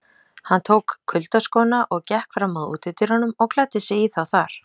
Hann tók kuyldaskóna og gekk fram að útidyrunum og klæddi sig í þá þar.